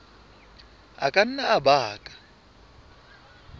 a ka nna a baka